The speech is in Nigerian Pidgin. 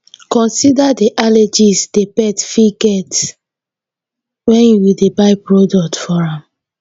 consider di allergies wey di pet fit get when you dey buy product for am